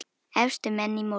Efstu menn í mótinu